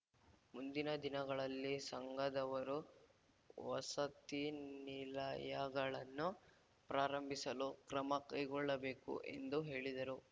ಮುಂದಿನ ದಿನಗಳಲ್ಲಿ ಸಂಘದವರು ವಸತಿ ನಿಲಯಗಳನ್ನು ಪ್ರಾರಂಭಿಸಲು ಕ್ರಮ ಕೈಗೊಳ್ಳಬೇಕು ಎಂದು ಹೇಳಿದರು